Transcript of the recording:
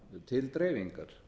til dreifingar